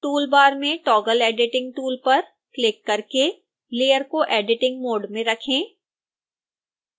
tool bar में toggle editing tool पर click करके layer को एडिटिंग मोड़ में रखें